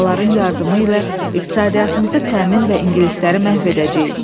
Şuraların yardımı ilə iqtisadiyyatımızı təmin və İngilisləri məhv edəcəyik.